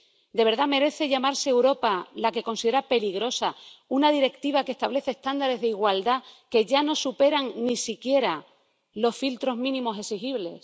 ¿De verdad merece llamarse Europa la que considera peligrosa una Directiva que establece estándares de igualdad que ya no superan ni siquiera los filtros mínimos exigibles?